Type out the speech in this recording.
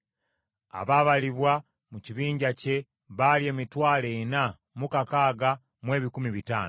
Abaabalibwa mu kibinja kye baali emitwalo ena mu kakaaga mu ebikumi bitaano (46,500).